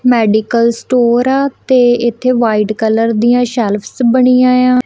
Medical store ਆ ਤੇ ਇੱਥੇ ਵ੍ਹਾਈਟ ਕਲਰ ਦਿਆਂ ਸ਼ੈਲਫ਼ਸ ਬਣੀਆਂ ਯਾਂ।